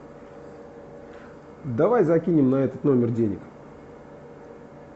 давай закинем на этот номер денег